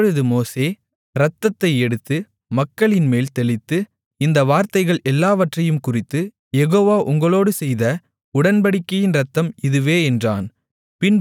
அப்பொழுது மோசே இரத்தத்தை எடுத்து மக்களின்மேல் தெளித்து இந்த வார்த்தைகள் எல்லாவற்றையும்குறித்து யெகோவா உங்களோடு செய்த உடன்படிக்கையின் இரத்தம் இதுவே என்றான்